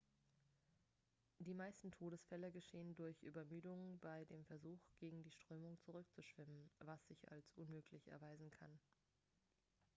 die meisten todesfälle geschehen durch übermüdung bei dem versuch gegen die strömung zurückzuschwimmen was sich als unmöglich erweisen kann